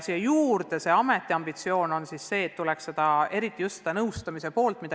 Lisandub ameti ambitsioon, mis puudutab just nõustamise poolt.